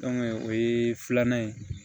o ye filanan ye